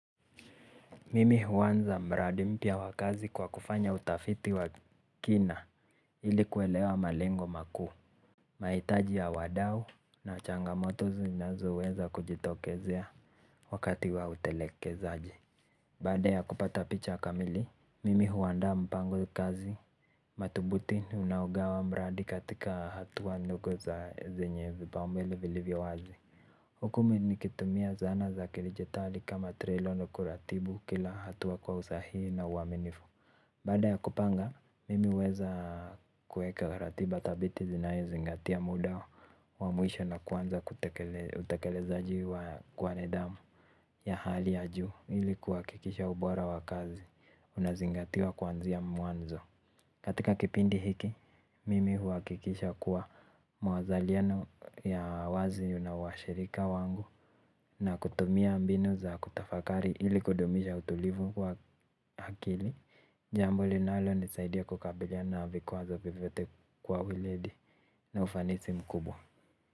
Mimi huanza mradi mpya wa kazi kwa kufanya utafiti wa kina ili kuelewa malengo makuu. Mahitaji ya wadau na changamoto zinazoweza kujitokezea wakati wa utelekezaji. Baada ya kupata picha kamili mimi huandaa mpango ya kazi. Mathubutini unaogawa mradi katika hatua ndogo za zenye vipaumbele vilivyo wazi huku mi nikitumia zana za kidijitali kama trilono kuratibu kila hatua kwa usahihi na uaminifu. Baada ya kupanga, mimi huweza kueka ratiba thabiti zinayozingatia muda wa mwisho na kuanza kutekeleza juu kwa nidhamu ya hali ya juu, ili kuhakikisha ubora wa kazi, unazingatia kuanzia mwanzo. Katika kipindi hiki, mimi huhakikisha kuwa mwazaliano ya wazi una washirika wangu na kutumia mbinu za kutafakari ili kudumisha utulivu kwa akili. Jambo linalonisaidia kukabiliana na vikwazo vyovyote kwa weledi na ufanisi mkubwa.